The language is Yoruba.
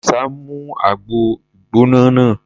Àdìsá mu àgbo gbígbóná náà.